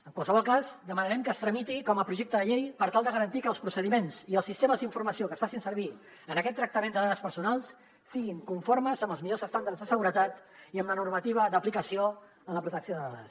en qualsevol cas demanarem que es tramiti com a projecte de llei per tal de garantir que els procediments i els sistemes d’informació que es facin servir en aquest tractament de dades personals siguin conformes amb els millors estàndards de seguretat i amb la normativa d’aplicació en la protecció de dades